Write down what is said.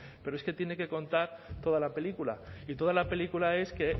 pero es que tiene que contar toda la película y toda la película es que